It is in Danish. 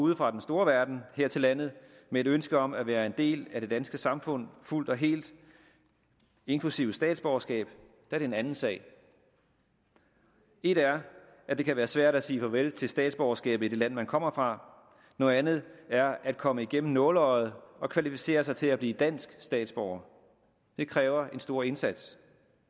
ude fra den store verden her til landet med et ønske om at være en del af det danske samfund fuldt og helt inklusive statsborgerskab er det en anden sag et er at det kan være svært at sige farvel til statsborgerskabet i det land man kommer fra noget andet er at komme igennem nåleøjet og kvalificere sig til at blive dansk statsborger det kræver en stor indsats